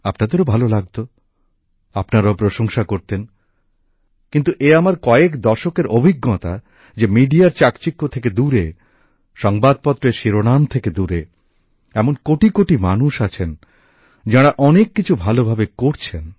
আপনাদেরও ভালো লাগত আপনারাও প্রশংসা করতেন কিন্তু এ আমার কয়েক দশকের অভিজ্ঞতা যে সংবাদমাধ্যমের চাকচিক্য থেকে দূরে সংবাদপত্রের শিরোনাম থেকে দূরে এমন কোটিকোটি মানুষ আছেন যাঁরা অনেক কিছু ভালোভাবে করছেন